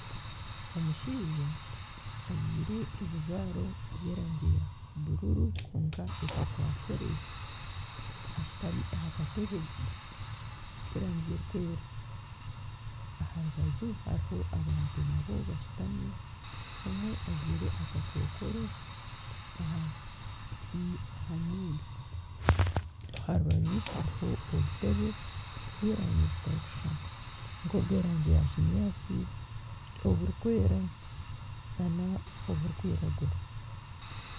Omushaija ajwire ebijwaro by'erangi ya bururu kwonka etakwatsire ashutami aha katebe k'erangi erikwera, aha rubaju hariho abantu nabo bashutami omwe ajwire akakokoro aha nyindo aha rubaju hariho obutebe bw'erangi zitarikushushana nk'obw'erangi ya kinyaatsi oburikwera nana oburikwiragura